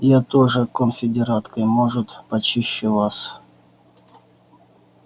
я тоже конфедератка и может почище вас